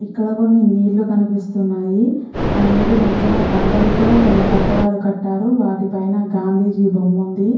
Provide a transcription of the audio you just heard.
ఇక్కడ కొన్ని నీళ్ళు కనిపిస్తున్నాయి. ఆ నీరు మంచిది బండాలతో కొన్ని కట్టడాలు కట్టారు వాటి పైన గాంధీజీ బొమ్మ ఉంది.